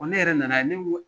Ne yɛrɛ nana ye ne